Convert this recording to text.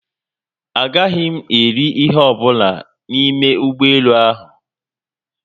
Agaghị m eri ihe ọbụla n'ime ụgbọelu ahụ